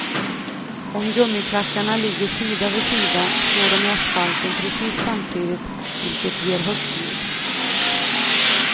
Om gummiklackarna ligger sida vid sida slår de i asfalten precis samtidigt vilket ger högt ljud.